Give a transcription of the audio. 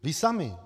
Vy sami!